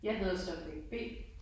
Jeg hedder subject B